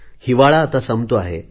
हिवाळा आता संपतो आहे